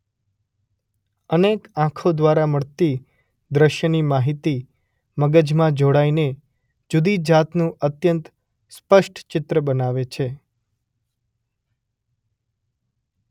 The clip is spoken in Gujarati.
અનેક આંખો દ્વારા મળતી દૃષ્યની માહિતી મગજમાં જોડાઈને જૂદી જાતનું અત્યંત સ્પષ્ટ ચિત્ર બનાવે છે.